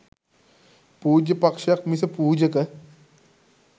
පූජ්‍ය පක්‍ෂයක් මිස පූජක